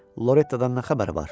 Lorettadan nə xəbər var?